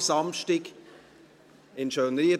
1. Februar 2020, in Schönried,